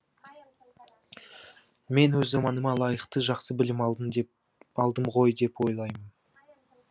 мен өз заманыма лайықты жақсы білім алдым ғой деп ойлаймын